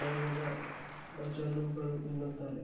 ದ್ರವ್ಯದ ಮಜಲುಗಳು ಎನ್ನುತ್ತಾರೆ